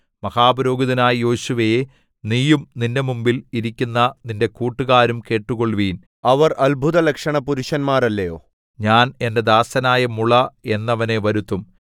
മഹാപുരോഹിതനായ യോശുവേ നീയും നിന്റെ മുമ്പിൽ ഇരിക്കുന്ന നിന്റെ കൂട്ടുകാരും കേട്ടുകൊള്ളുവിൻ അവർ അത്ഭുതലക്ഷണപുരുഷന്മാരല്ലയൊ ഞാൻ എന്റെ ദാസനായ മുള എന്നവനെ വരുത്തും